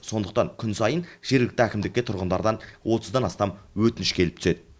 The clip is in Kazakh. сондықтан күн сайын жергілікті әкімдікке тұрғындардан отыздан астам өтініш келіп түседі